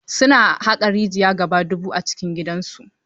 Su na haƙon rijiya gaba dubu a cikin gidan su.